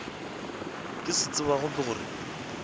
ke se tsebago ke gore